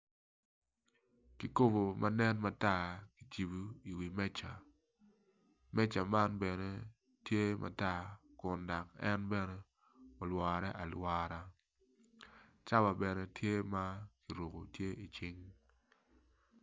Kikobo manen matar kicibo i wi meca, meca man bene tye matar kun dok en bene olwore alwora cawa bene tye ma oruku tye icinge